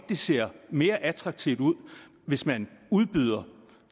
det ser mere attraktivt ud hvis man udbyder